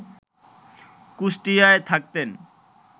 কুষ্টিয়ায় থাকতেন